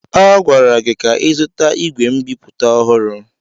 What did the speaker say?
A gwara gị ka ịzụta ìgwè nbipute ọhụrụ!